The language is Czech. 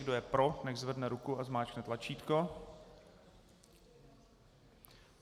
Kdo je pro, nechť zvedne ruku a zmáčkne tlačítko.